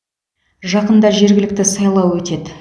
жақында жергілікті сайлау өтеді